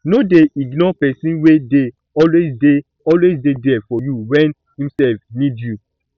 no dey ignore person wey dey always dey always dey there for you when im sef need you